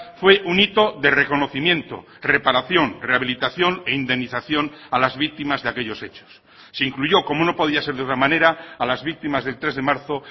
fue un hito de reconocimiento reparación rehabilitación e indemnización a las víctimas de aquellos hechos se incluyó como no podía ser de otra manera a las víctimas del tres de marzo